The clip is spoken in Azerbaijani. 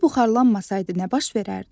Su buxarlanmasaydı nə baş verərdi?